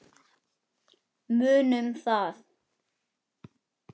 Munum það.